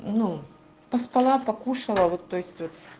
ну поспала покушала вот то есть вот